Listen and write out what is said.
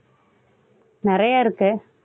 நிறைய இருக்கு